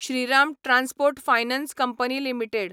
Shriram transport finance company limited